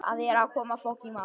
Það er að koma maí.